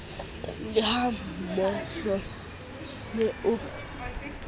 le ha mohlomongo ne o